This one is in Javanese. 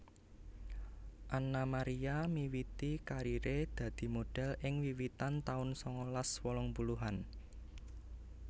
Anna Maria miwiti kariré dadi modhel ing wiwitan taun sangalas wolung puluhan